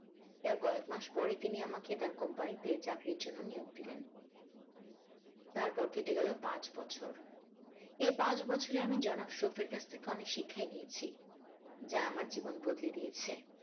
এর কয়েকমাস পরেই তিনি আমাকে তার company তে চাকরির জন্য নিয়োগ দিলেন তারপর কেটে গেল পাঁচ বছর এই পাঁচ বছরে আমি জনাব শফের কাছ থেকে অনেক শিক্ষাই নিয়েছি যা আমার জীবন বদলে দিয়েছে।